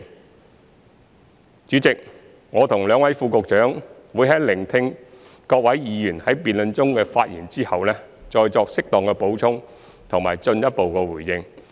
代理主席，我和兩位副局長會在聆聽各位議員在辯論中的發言後，再作適當補充和進一步回應。